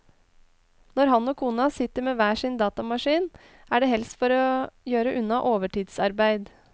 Når han og kona sitter med hver sin datamaskin, er det helst for å gjøre unna overtidsarbeid.